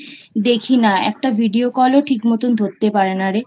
দেখি না। একটা Video Call ও ঠিকমতন ধরতে পারে না রে।